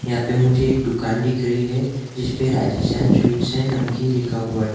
यहाँ पे मुझे एक दुकान दिख रही है जिसपे राजस्थान स्वीट्स एन नमकीन लिखा हुआ है।